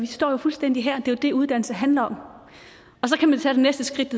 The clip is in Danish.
står fuldstændig her det er jo det uddannelse handler om og så kan man tage det næste skridt